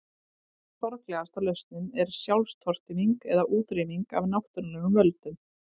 Sorglegasta lausnin er sjálfstortíming eða útrýming af náttúrulegum völdum.